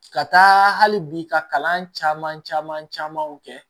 Ka taa hali bi ka kalan caman caman kɛ